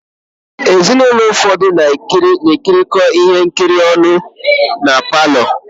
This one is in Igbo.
Ezinụlọ ụfọdụ na-ekirikọ ihe nkiri ọnụ na palọ.